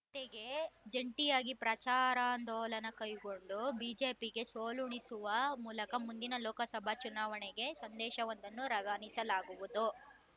ಜತೆಗೆ ಜಂಟಿಯಾಗಿ ಪ್ರಚಾರಾಂದೋಲನ ಕೈಗೊಂಡು ಬಿಜೆಪಿಗೆ ಸೋಲುಣಿಸುವ ಮೂಲಕ ಮುಂದಿನ ಲೋಕಸಭಾ ಚುನಾವಣೆಗೆ ಸಂದೇಶವೊಂದನ್ನು ರವಾನಿಸಲಾಗುವುದು